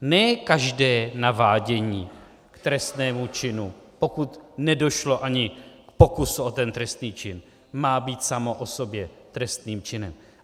Ne každé navádění k trestnému činu, pokud nedošlo ani k pokusu o ten trestný čin, má být samo o sobě trestným činem.